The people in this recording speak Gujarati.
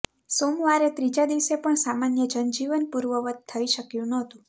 સોમવારે ત્રીજા દિવસે પણ સામાન્ય જનજીવન પૂર્વવત્ થઈ શક્યું નહોતું